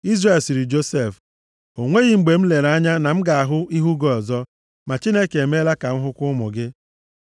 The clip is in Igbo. Izrel sịrị Josef, “O nweghị mgbe m lere anya na m ga-ahụ ihu gị ọzọ. Ma Chineke emeela ka m hụkwa ụmụ gị.”